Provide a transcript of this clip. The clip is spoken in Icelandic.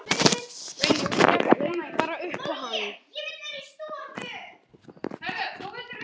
Laug bara upp á hann.